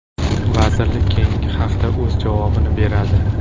Vazirlik keyingi hafta o‘z javobini beradi.